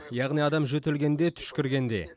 яғни адам жөтелгенде түшкіргенде